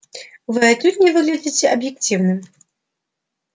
вы отнюдь не выглядите объективным